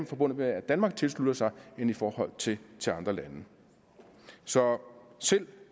forbundet med at danmark tilslutter sig end i forhold til til andre lande så selv